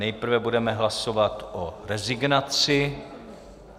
Nejprve budeme hlasovat o rezignaci.